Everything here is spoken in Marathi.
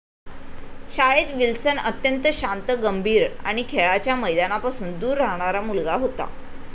शाळेत विल्सन अत्यंत शांत गंभीर आणि खेळाच्या मैदानापासून दूर राहणारा मुलगा होता